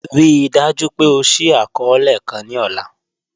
Ríì dájú pé ọ ṣìí akọọlẹ̀ kàn ni ọ̀là